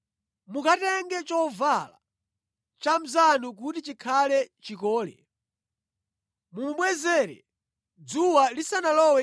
Mukatenga chovala cha mnzanu kuti chikhale chikole mumubwezere dzuwa lisanalowe